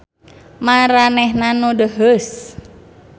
Maranehna nu deuheus.